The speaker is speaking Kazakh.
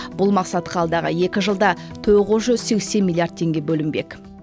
бұл мақсатқа алдағы екі жылда тоғыз жүз сексен миллиард теңге бөлінбек